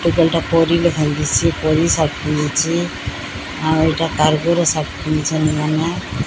ଏଖାନେଟା ପରିଲ ଭାଙ୍ଗିସି ପରି ସାର୍ଟ ପିନ୍ଧିଚି ଆଉ ଏଟା ଟାଇଗର ର ସାର୍ଟ ପିନ୍ଧଛନ୍ ଏମାନେ।